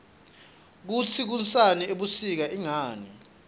kutsi kunsani ebusika ingani